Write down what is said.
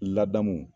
Ladamu